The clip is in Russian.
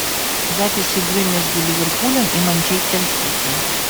запись игры между ливерпулем и манчестер сити